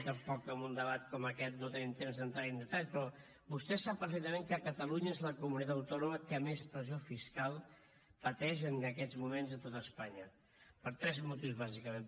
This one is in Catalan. tampoc en un debat com aquest no tenim temps de entrar hi en detall però vostè sap perfectament que catalunya és la comunitat autònoma que més pressió fiscal pateix en aquests moments de tot espanya per tres motius bàsicament